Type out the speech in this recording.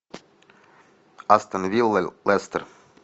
астон вилла лестер